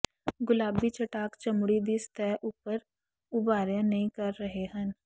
ਗੁਲਾਬੀ ਚਟਾਕ ਚਮੜੀ ਦੀ ਸਤਹ ਉਪਰ ਉਭਾਰਿਆ ਨਹੀ ਕਰ ਰਹੇ ਹਨ